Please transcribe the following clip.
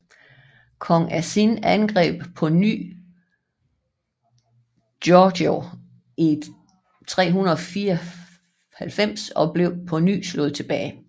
Kong Asin angreb på ny Goguryeo i 394 og blev på ny slået tilbage